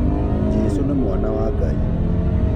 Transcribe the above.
Jesũ nĩ mwana wa Ngai